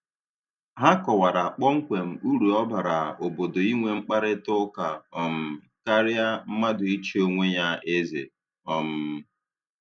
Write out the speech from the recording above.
Ha kọwara kpọmkwem uru ọ bara obodo inwe mkparịtaụka um karịa mmadụ ichi onwe ya eze. um